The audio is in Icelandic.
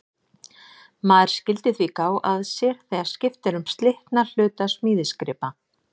Maður skyldi því gá að sér þegar skipt er um slitna hluta smíðisgripa.